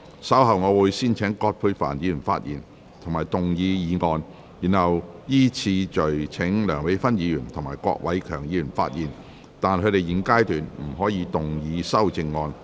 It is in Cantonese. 稍後我會先請葛珮帆議員發言及動議議案，然後依次序請梁美芬議員及郭偉强議員發言，但他們在現階段不可動議修正案。